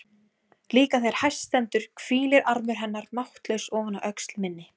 Líka þegar hæst stendur hvílir armur hennar máttlaus ofan á öxl minni.